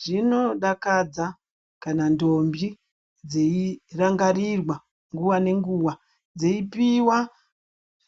Zvinodakadza kana ndombi dzeirangarirwa nguva nenguva dzeipiwa